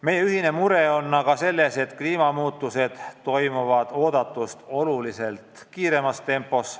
Meie ühine mure on aga selles, et kliimamuutused toimuvad oodatust oluliselt kiiremas tempos.